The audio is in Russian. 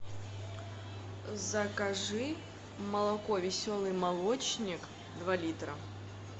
закажи молоко веселый молочник два литра